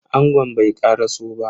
Angon bai karaso ba.